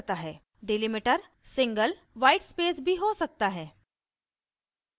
delimiter single whitespace भी हो सकता है